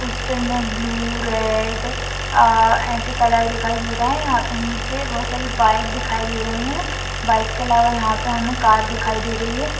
Hostel में blue red uh ऐसे colour दिखाई दे रहे है यहा पे नीचे बहुत सारी बाइक दिखाई दे रही है| बाइक के अलावा यहा पे हमे कार दिखाई दे रही है।